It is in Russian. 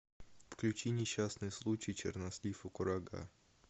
включи несчастный случай чернослив и курага